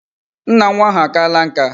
Nna nwa ahu akaala nka